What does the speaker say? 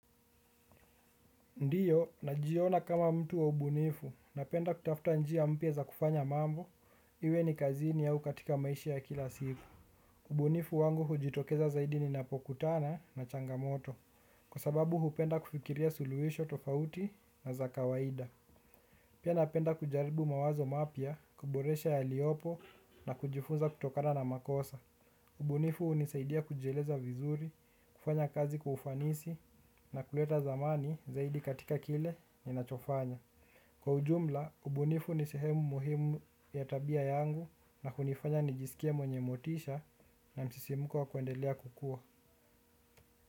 Ndio, najiona kama mtu wa ubunifu, napenda kutafuta njia mpya za kufanya mambo, iwe ni kazini au katika maisha ya kila siku. Ubunifu wangu hujitokeza zaidi ninapokutana na changamoto, kwa sababu hupenda kufikiria suluhisho tofauti na za kawaida. Pia napenda kujaribu mawazo mapya, kuboresha yaliopo na kujifunza kutokana na makosa. Ubunifu hunisaidia kujieleza vizuri, kufanya kazi kwa ufanisi na kuleta dhamani zaidi katika kile ninachofanya. Kwa ujumla, ubunifu ni sehemu muhimu ya tabia yangu na hunifanya nijisikie mwenye motisha na msisimuko wa kuendelea kukua.